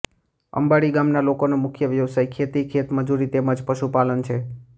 અંબાડી ગામના લોકોનો મુખ્ય વ્યવસાય ખેતી ખેતમજૂરી તેમ જ પશુપાલન છે